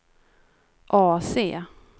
AC